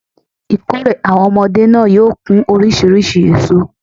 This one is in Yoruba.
Ìkórè àwon omodé náà yóò kún orísirísi èso